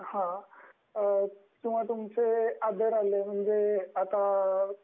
किंवा तुमचे अदर आले म्हणजे आता